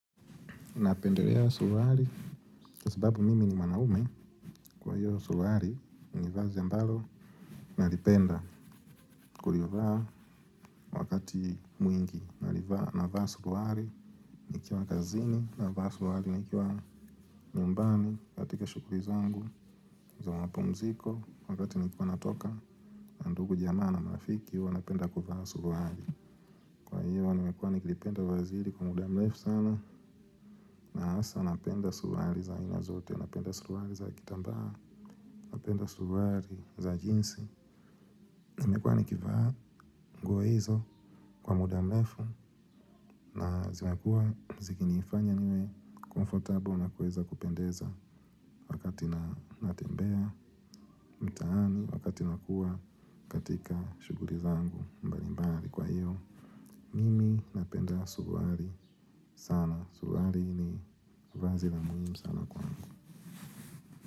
Napendelea suruari, kwa sababu mimi ni mwanaume, kwa hiyo suruari, ni vazi ambalo nalipenda, kulivaa wakati mwingi, nalivaa, navaa suruari, nikiwa kazini, navaa suruari, nikiwa nyumbani, katika shukuri zangu, za mapumziko, wakati nikiwa natoka, na ndugu jamaa na marafiki, huwa napenda kuvaa suruari. Kwa hiyo nimekuwa nikilipenda vazi hili kwa muda mlefu sana na hasa napenda suruari za aina zote, napenda suruari za kitambaa, napenda suruari za jinsi zimekuwa nikivaa nguo izo kwa muda mlefu na zimekuwa zikinifanya niwe comfortable na kuweza kupendeza wakati natembea. Mtaani wakati nakua katika shuguri zangu mbalimbari kwa hiyo mimi napenda suruari sana, suruari ni vazi la muhim sana kwangu.